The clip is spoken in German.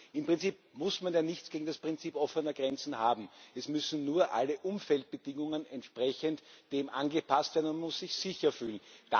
Im Prinzip muss man ja nichts gegen das Prinzip der offenen Grenzen haben, es müssen nur alle Umfeldbedingungen entsprechend dem angepasst werden, man muss sich sicher fühlen.